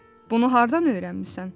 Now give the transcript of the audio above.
Bunu hardan öyrənmisən?